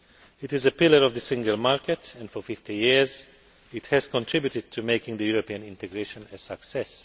It is a pillar of the single market and for 50 years it has contributed to making European integration a success.